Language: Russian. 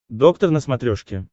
доктор на смотрешке